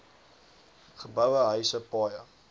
geboue huise paaie